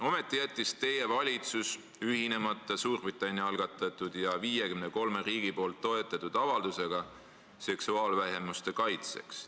Ometi jättis teie valitsus ühinemata Suurbritannia algatatud ja 53 riigi toetatud avaldusega seksuaalvähemuste kaitseks.